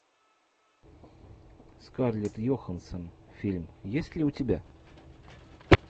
скарлетт йоханссон фильм есть ли у тебя